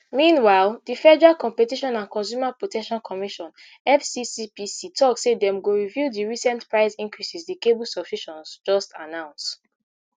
meanwhile di federal competition and consumer protection commission fccpc tok say dem go review di recent price increases di cable subscriptions just announce